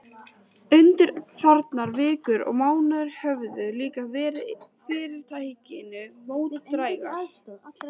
Undanfarnar vikur og mánuðir höfðu líka verið fyrirtækinu mótdrægar.